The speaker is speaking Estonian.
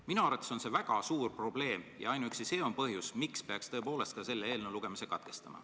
Minu arvates on see väga suur probleem ja ainuüksi see on põhjus, miks peaks selle eelnõu lugemise katkestama.